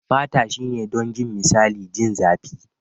Fata shine don jin misali. Jin zapi.